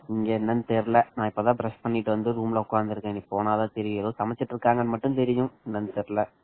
இங்க என்னன்னு தெரியலா இப்பதான் brush பண்ணிட்டு வந்து room ல உட்கார்ந்து இருக்கேன் போனா தான் தெரியும் ஏதோ சமைச்சிட்டு இருக்காங்கன்னு மட்டும் தெரியும் என்னன்னு தெரியல